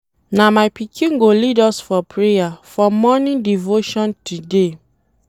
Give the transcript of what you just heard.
Na my pikin go lead us for prayer for morning devotion today.